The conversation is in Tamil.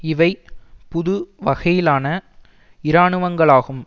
இவை புது வகையிலான இராணுவங்களாகும்